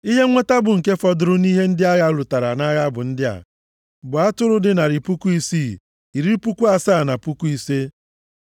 Ihe nweta bụ nke fọdụrụ nʼihe ndị agha lụtara nʼagha bụ ndị a, bụ atụrụ dị narị puku isii, iri puku asaa na puku ise (675,000),